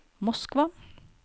Moskva